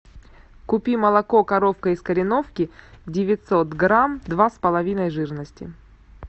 купи молоко коровка из кореновки девятьсот грамм два с половиной жирности